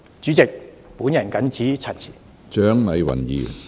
主席，我謹此陳辭。